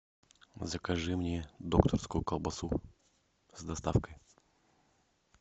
закажи мне докторскую колбасу с доставкой